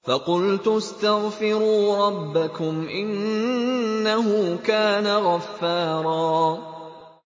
فَقُلْتُ اسْتَغْفِرُوا رَبَّكُمْ إِنَّهُ كَانَ غَفَّارًا